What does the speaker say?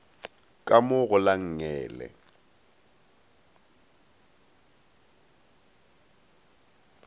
ka mo go la nngele